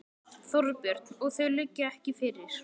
Þorbjörn: Og þau liggja ekki fyrir?